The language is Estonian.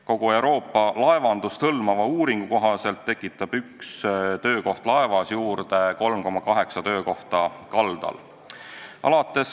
Kogu Euroopa laevandust hõlmanud uuringu kohaselt tekitab üks töökoht laevas juurde 3,8 töökohta kaldal.